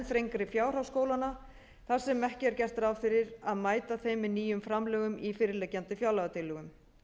þrengri fjárhag skólanna þar sem ekki er gert ráð fyrir að mæta þeim með nýjum framlögum í fyrirliggjandi fjárlagatillögum